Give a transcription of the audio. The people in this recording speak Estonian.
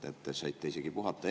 Te saite isegi puhata.